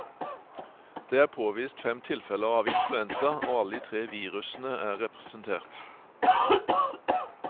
Det er påvist fem tilfeller av influensa, og alle de tre virusene er representert.